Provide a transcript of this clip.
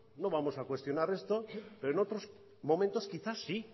no vamos a cuestionar esto pero en otros momentos quizás sí